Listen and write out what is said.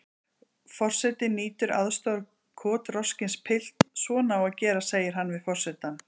Forseti nýtur aðstoðar kotroskins pilts: Svona á að gera segir hann við forsetann.